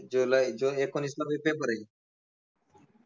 जुलै, जुन एकोणावीसमध्ये paper I